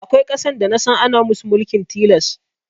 Akwai ƙasar da nasan ana musu mulkin tilas